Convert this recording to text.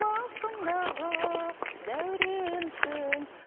басымдағы дәуренсің